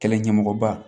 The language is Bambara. Kɛlɛ ɲɛmɔgɔba